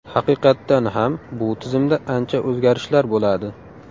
Haqiqatdan ham bu tizimda ancha o‘zgarishlar bo‘ladi.